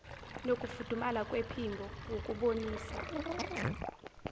nokufudumala kwephimbo ukubonisa